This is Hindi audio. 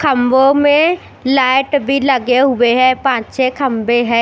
खंभों में लाइट भी लगे हुए हैं पांच छ खंभे है।